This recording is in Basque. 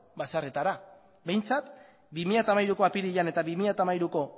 batzordetara behintzat bi mila hamairu apirilean eta bi mila hamairuko